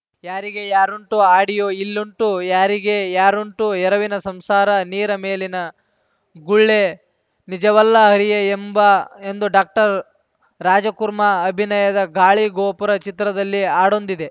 ಯಾರಿಗೆ ಯಾರುಂಟು ಆಡಿಯೋ ಇಲ್ಲುಂಟು ಯಾರಿಗೆ ಯಾರುಂಟು ಎರವಿನ ಸಂಸಾರ ನೀರ ಮೇಲಿನ ಗುಳ್ಳೆ ನಿಜವಲ್ಲ ಹರಿಯೇ ಎಂಬ ಎಂದು ಡಾಕ್ಟರ್ ರಾಜ್‌ಕುರ್ಮಾ ಅಭಿನಯದ ಗಾಳಿ ಗೋಪುರ ಚಿತ್ರದಲ್ಲಿ ಹಾಡೊಂದಿದೆ